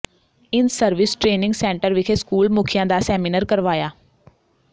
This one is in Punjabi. ਇਨਸਰਵਿਸ ਟਰੇਨਿੰਗ ਸੈਂਟਰ ਵਿਖੇ ਸਕੂਲ ਮੁਖੀਆਂ ਦਾ ਸੈਮੀਨਾਰ ਕਰਵਾਇਆ